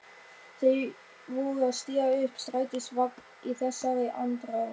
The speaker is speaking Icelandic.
Þau voru að stíga upp í strætisvagn í þessari andrá.